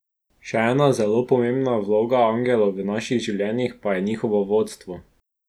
Še ena zelo pomembna vloga angelov v naših življenjih pa je njihovo vodstvo.